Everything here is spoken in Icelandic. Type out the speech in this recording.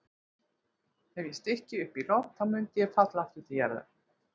Ef ég stykki upp í loft þá myndi ég falla aftur til jarðar.